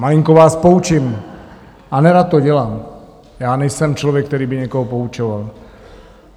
Malinko vás poučím, a nerad to dělám, já nejsem člověk, který by někoho poučoval.